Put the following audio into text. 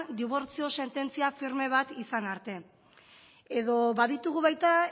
dibortzio sententzia firme bat izan arte edo baditugu baita